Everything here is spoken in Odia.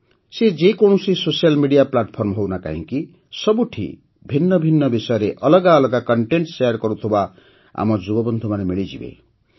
ସେ ଯେକୌଣସି ସୋସିଆଲ୍ ମେଡିଆ ପ୍ଲାଟଫର୍ମ ହେଉ ନା କାହିଁକି ସବୁଠି ଭିନ୍ନ ଭିନ୍ନ ବିଷୟରେ ଅଲଗା ଅଲଗା କଣ୍ଟେଣ୍ଟ ଶେୟାର କରୁଥିବା ଆମ ଯୁବବନ୍ଧୁମାନେ ମିଳିଯିବେ